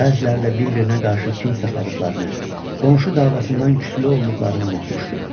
Bəziləri də bir-birinə qarşı kin saxladıqlarını, qonşu davasından küsülü olduqlarını unutmuşdu.